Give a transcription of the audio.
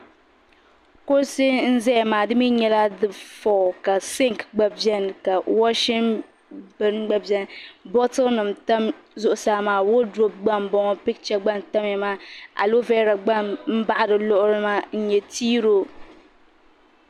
Kuɣusi n ƶɛya maa dimi nyala dɛ fɔr ka sink gba bɛni ka washing bɛn gba bɛni botle nim tam ƶuɣusaa maa wadrɔ gba n boŋɔ picture gba n tamya maa alovera gba n baɣi di lugli maa n nyɛ t-role .